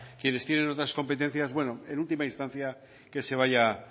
quienes tienen otras competencias en última instancia que se vaya